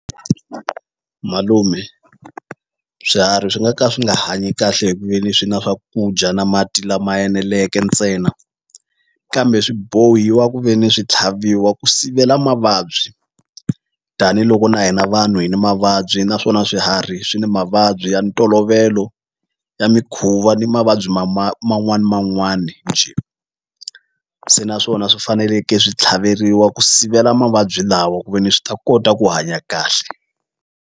Malume swiharhi swi nga ka swi nga hanyi kahle hi ku ve ni swi na swakudya na mati lama eneleke ntsena kambe swi bohiwa ku ve ni swi tlhaviwa ku sivela mavabyi tanihiloko na hina vanhu hi ni mavabyi naswona swiharhi swi ni mavabyi ya ntolovelo ya mikhuva ni mavabyi ma man'wani ni man'wani njhe se naswona swi faneleke swi tlhaveriwa ku sivela mavabyi lawa ku ve ni swi ta kota ku hanya kahle.